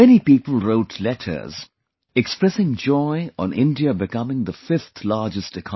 Many people wrote letters expressing joy on India becoming the 5th largest economy